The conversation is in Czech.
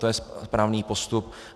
To je správný postup.